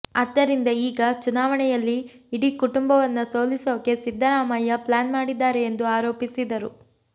ಆದ್ದರಿಂದ ಈಗ ಚುನಾವಣೆಯಲ್ಲಿ ಇಡೀ ಕುಟುಂಬವನ್ನ ಸೋಲಿಸೋಕೆ ಸಿದ್ದರಾಮಯ್ಯ ಪ್ಲಾನ್ ಮಾಡಿದ್ದಾರೆ ಎಂದು ಆರೋಪಿಸಿದರು